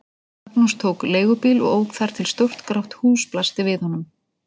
Magnús tók leigubíl og ók þar til stórt grátt hús blasti við honum.